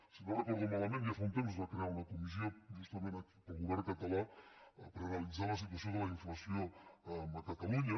si no ho recordo malament ja fa un temps es va crear una comissió justament pel govern català per analitzar la situació de la inflació a catalunya